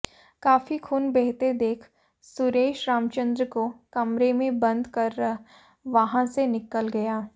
काफी खून बहते देख सुरेश रामचंद्र को कमरे में बंद कर वहां से निकल गया